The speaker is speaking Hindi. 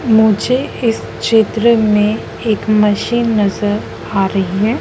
मुझे इस चित्र में एक मशीन नजर आ रही है।